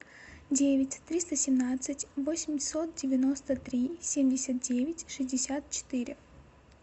девять триста семнадцать восемьсот девяносто три семьдесят девять шестьдесят четыре